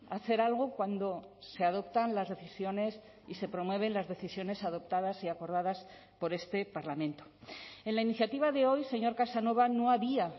hacer algo cuando se adoptan las decisiones y se promueven las decisiones adoptadas y acordadas por este parlamento en la iniciativa de hoy señor casanova no había